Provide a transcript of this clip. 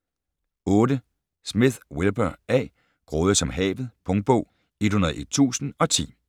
8. Smith, Wilbur A.: Grådig som havet Punktbog 101010